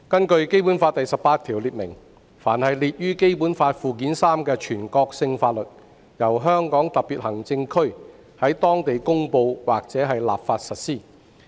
《基本法》第十八條列明，"凡列於本法附件三之法律，由香港特別行政區在當地公布或立法實施。